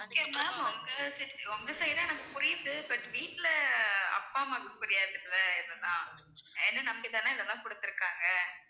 okay ma'am உங்க உங்க side ல எனக்கு புரியுது but வீட்ல அப்பா அம்மாக்கு புரியாதுல்ல இதெல்லாம் என்னை நம்பிதானே இதெல்லாம் கொடுத்திருக்காங்க